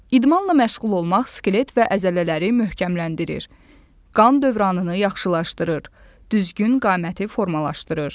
İdmanla məşğul olmaq skelet və əzələləri möhkəmləndirir, qan dövranını yaxşılaşdırır, düzgün qaməti formalaşdırır.